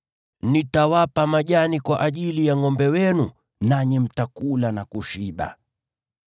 Nitawapa majani kwa ajili ya ngʼombe wenu, nanyi mtakula na kushiba.